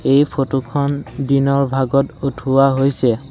এই ফটোখন দিনৰ ভাগত উঠোৱা হৈছে।